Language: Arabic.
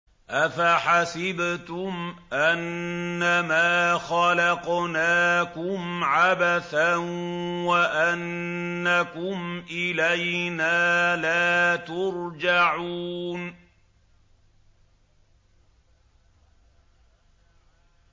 أَفَحَسِبْتُمْ أَنَّمَا خَلَقْنَاكُمْ عَبَثًا وَأَنَّكُمْ إِلَيْنَا لَا تُرْجَعُونَ